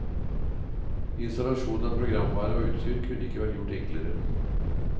Installasjon av programvare og utstyr kunne ikke vært gjort enklere.